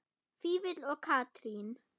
Vífill og Katrín.